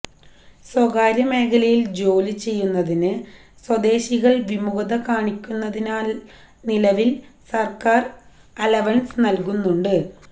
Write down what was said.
സ്വകാര്യ മേഖലയില് ജോലി ചെയ്യുന്നതിന് സ്വദേശികള് വിമുഖത കാണിക്കുന്നതിനാല് നിലവില് സര്ക്കാര് അലവന്സ് നല്കുന്നുണ്ട്